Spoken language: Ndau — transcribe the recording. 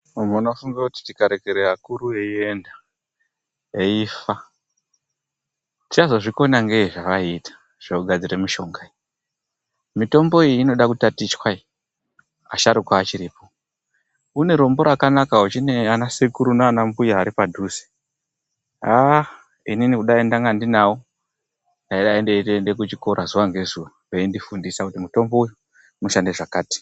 Vantu vanofunga kuti tikarekera vakuru veinda veifa, tichazozvikona ngei zvevaiita zvekugadzira mishonga. Mitombo iyi inoda kutatichwa iyi asharuka achiri po. Une rombo rakanaka uchina ana sekuru nanambuya ari padhuze. Haah inini kudai ndanga ndinavo ndaida I ndeitoenda kuchikora mazuwa ngezuwa veindifundisa kuti mitombo uyu unoshanda zvakati.